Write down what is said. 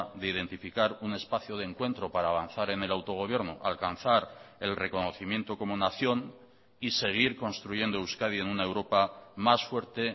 de identificar un espacio de encuentro para avanzar en el autogobierno alcanzar el reconocimiento como nación y seguir construyendo euskadi en una europa más fuerte